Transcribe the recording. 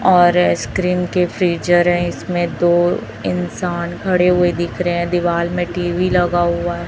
और स्क्रीन के फीचर हैं इसमें तो इंसान खड़े हुए दिख रहे हैं दीवाल में टी_वी लगा हुआ है।